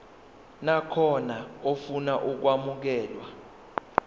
nakhona ofuna ukwamukelwa